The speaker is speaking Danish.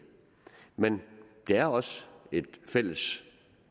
men det er også et fælles